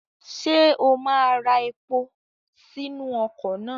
Ṣé o máa ra epo sínú ọkọ̀ náà?